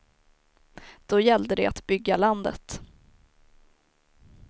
Då gällde det att bygga landet.